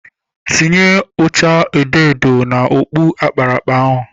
Tinye ụcha edoedo n'okpu akparakpa ahụ!